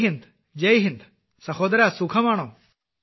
ജയ് ഹിന്ദ് ജയ് ഹിന്ദ് സഹോദരാ സുഖമാണോ